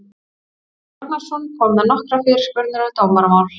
Jón Ragnarsson kom með nokkrar fyrirspurnir um dómaramál.